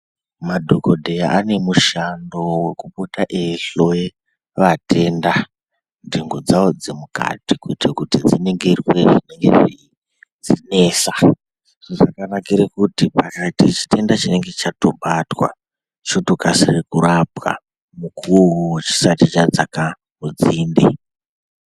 Madhokodheya ane mushando wekupota eihloye vatenda nhengo dzawo dzemukati kuite kuti dzinenge dzine chitenda chinenge cheinesa zvakanakire kuti pakaite chitendea chinenge chatobatwa chotokasire kurapwa mukuwo uwowo chisati chadzase/chadzaka nzinde.